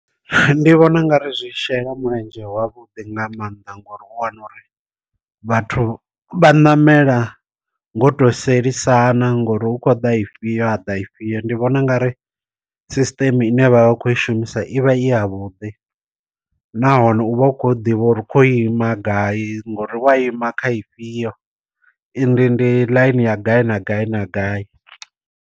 Ndi vhona u nga ri zwi shela mulenzhe ha vhuḓi nga maanḓa ngori u wana uri vhathu vha namela ngo to sielisana ngori hu khou da ifhio ha ḓa ifhio, ndi vhona u nga ri sisṱeme ine vha vha khou i shumisa ivha i ya vhuḓi nahone u vha u kho ḓivha uri kho ima gai ngori wa ima kha ifhio i ndi ndi ḽaini ya gai na gai na gai.